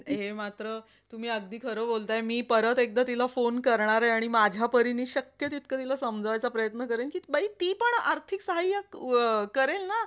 हे मात्र तुम्ही अगदी खरं बोलताय. परत एकदा तिला phone करणार हाय आणि माझ्या परींनी शक्य शक्य तितकं तिला समजावयाचा प्रयत्न करेन. बाई ती पण आर्थिक साहाय्य अ करेल ना?